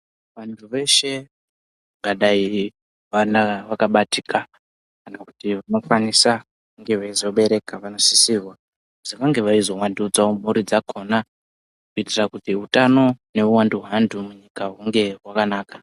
Vantu veshe vangadayi vana vakabatika kana kuti vanokwanisa kunge veizobereka vanosisirwa kuti vange veizovandudzawo mhuri dzakona kuitira kuti utano neuwandu hwevantu munyika hunge hwakanaka.